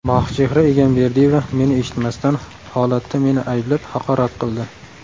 Mohichehra Egamberdiyeva meni eshitmasdan, holatda meni ayblab, haqorat qildi.